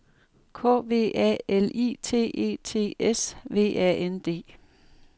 K V A L I T E T S V A N D